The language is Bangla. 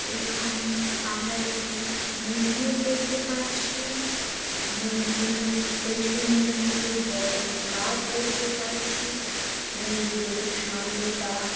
এখানে আমরা একটি মন্দির দেখতে পাচ্ছি মন্দিরের পিছন দিকে বড় গাছ দেখতে পাচ্ছি মন্দিরের সামনেটা--